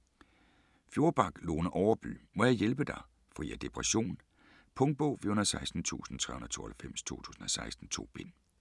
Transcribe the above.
Fjordback, Lone Overby: Må jeg hjælpe dig?: fri af depression Punktbog 416392 2016. 2 bind.